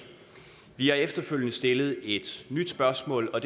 vi har efterfølgende stillet et nyt spørgsmål og